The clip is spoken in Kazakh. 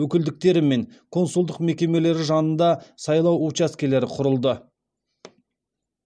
өкілдіктері мен консулдық мекемелері жанында сайлау учаскелері құрылды